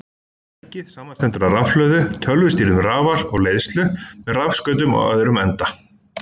Tækið samanstendur af rafhlöðu, tölvustýrðum rafal og leiðslu með rafskautum á öðrum enda.